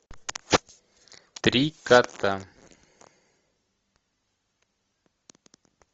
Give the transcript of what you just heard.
три кота